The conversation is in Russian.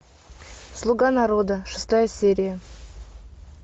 слуга народа шестая серия